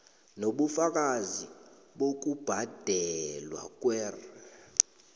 nobufakazi bokubhadelwa kwer